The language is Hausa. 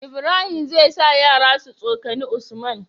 Ibrahim zai sa yara su tsokani usman